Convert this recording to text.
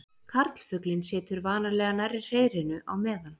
Karlfuglinn situr vanalega nærri hreiðrinu á meðan.